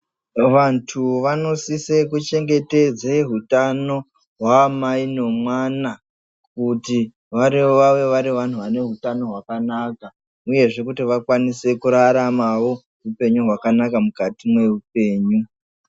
Vantu vanosise kuchengetedze hutano hwaamai nomwana kuti vave varivanhubvane hutano hwakanaka uyezve kuti vakwanisewo kurarama hupenyu hwakanaka mukati meuoenyu.